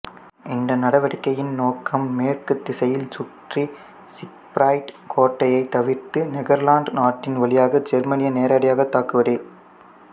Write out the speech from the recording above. இந்த நடவடிக்கையின் நோக்கம் மேற்குத் திசையில் சுற்றி சிக்ஃபிரைட் கோட்டைத் தவிர்த்து நெதர்லாந்து நாட்டின் வழியாக ஜெர்மனியை நேரடியாகத் தாக்குவதே